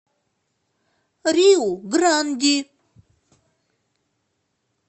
риу гранди